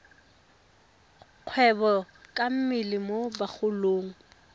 kgwebo ka mmele mo bagolong